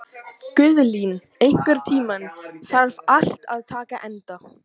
Guðlín, einhvern tímann þarf allt að taka enda.